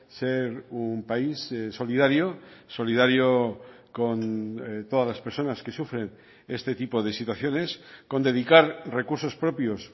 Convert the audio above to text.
ser un país solidario solidario con todas las personas que sufren este tipo de situaciones con dedicar recursos propios